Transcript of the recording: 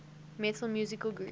metal musical groups